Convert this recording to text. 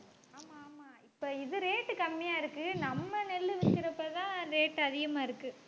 இப்ப இது rate கம்மியா இருக்கு நம்ம நெல்லு விக்கிறப்பத்தான் rate அதிகமா இருக்கு.